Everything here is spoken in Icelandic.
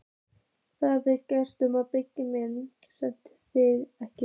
Það er greinilegt að hún Begga mín sveltir þig ekki.